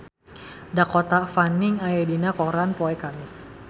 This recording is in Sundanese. Dakota Fanning aya dina koran poe Kemis